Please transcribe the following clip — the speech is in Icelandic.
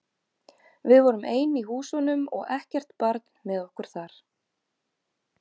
Við vorum ein í húsunum og ekkert barn með okkur þar.